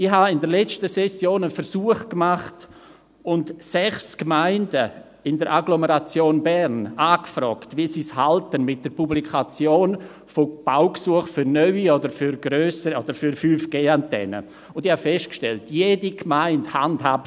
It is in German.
Ich habe in der letzten Session einen Versuch gemacht und sechs Gemeinden in der Agglomeration Bern angefragt, wie sie es mit der Publikation von Baugesuchen für neue oder für 5GAntennen halten, und ich habe festgestellt, dass es jede Gemeinde anders handhabt.